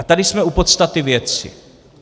A tady jsme u podstaty věci.